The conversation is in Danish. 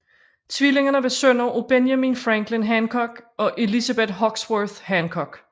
Tvillingerne var sønner af Benjamin Franklin Hancock og Elizabeth Hoxworth Hancock